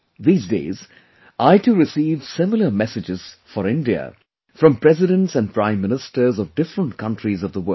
These days, I too receive similar messages for India from Presidents and Prime Ministers of different countries of the world